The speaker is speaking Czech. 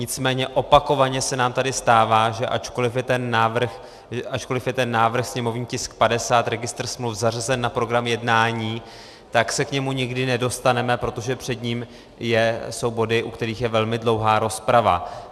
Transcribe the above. Nicméně opakovaně se nám tady stává, že ačkoliv je ten návrh, sněmovní tisk 50, registr smluv, zařazen na program jednání, tak se k němu nikdy nedostaneme, protože před ním jsou body, u kterých je velmi dlouhá rozprava.